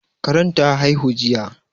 Karen ta haihu jiya